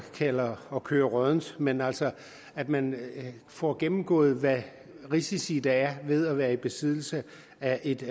kalder at køre råddent men altså at man får gennemgået hvilke risici der er ved at være i besiddelse af et